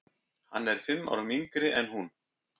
Hann er fimm árum yngri en hún.